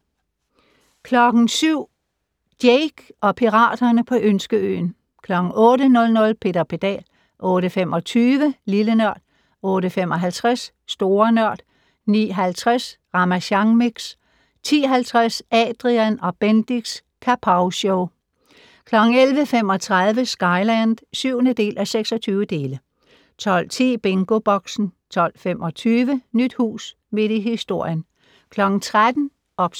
07:00: Jake og piraterne på Ønskeøen 08:00: Peter Pedal 08:25: Lille Nørd 08:55: Store Nørd 09:50: Ramasjang Mix 10:50: Adrian & Bendix' Kapowshow 11:35: Skyland (7:26) 12:10: BingoBoxen 12:25: Nyt hus midt i historien 13:00: OBS